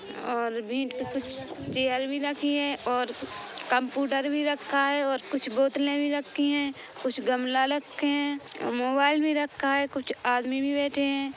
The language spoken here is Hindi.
और कुछ चेयर भी रखी है और कम्पुटर भी रखा है और कुछ बोतलें भी रखी है कुछ गमला रखे है मोबाईल भी रखा है कुछ आदमी भी बैठे हैं ।